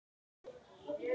Það er vel hægt.